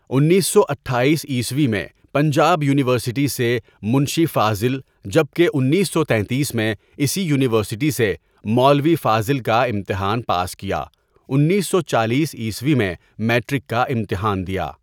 انیس سو اٹھایس عیسوی میں پنجاب یونیورسٹی سےمنشی فاضل جب کہ انیس سو تینتیس میں اسی یونیورسٹی سےمولوی فاضل کاامتحان پاس کیا انیس سو چالیس عیسوی میں میٹرک کاامتحان دیا.